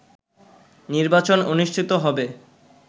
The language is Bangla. নির্বাচন অনুষ্ঠিত হবে